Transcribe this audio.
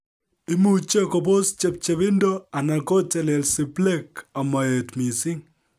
Imuche kobos chepchepindo, anan kotelelsi plaque amoet missing